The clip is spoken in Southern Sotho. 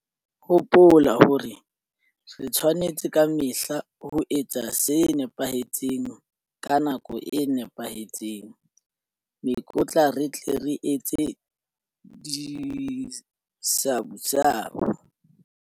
Hopola hore re tshwanetse ka mehla ho etsa se nepahetseng ka nako e nepahetseng hore mekotla re tle re etse disabusabu.